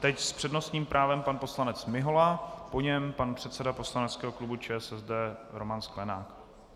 Teď s přednostním právem pan poslanec Mihola, po něm pan předseda poslaneckého klubu ČSSD Roman Sklenák.